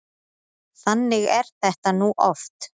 Þannig er þetta nú oft.